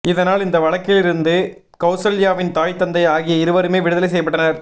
இதனால் இந்த வழக்கிலிருந்து கௌசல்யாவின் தாய் தந்தை ஆகிய இருவருமே விடுதலை செய்யப்பட்டனர்